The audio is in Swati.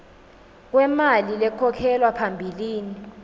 kwemali lekhokhelwa phambilini